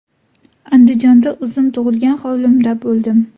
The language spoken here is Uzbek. Andijonda o‘zim tug‘ilgan hovlimda bo‘ldim.